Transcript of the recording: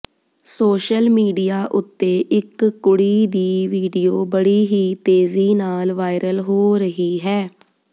social media ਉੱਤੇ ਇਕ ਕੁੜੀ ਦੀ ਵੀਡੀਓ ਬੜੀ ਹੀ ਤੇਜ਼ੀ ਨਾਲ ਵਾਇਰਲ ਹੋ ਰਹੀ ਹੈ